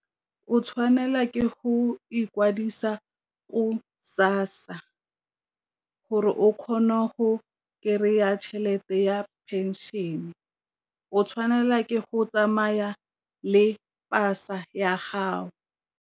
O tshwanela ke go ikwadisa o SASSA gore o kgona go kry-a tšhelete ya pension-e, o tshwanela ke go tsamaya le pasa ya gago.